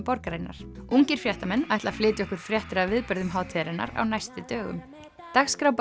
borgarinnar ungir fréttamenn ætla að flytja okkur fréttir af viðburðum hátíðarinnar á næstu dögum dagskrá